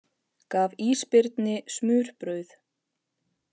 Gaf ísbirni smurbrauð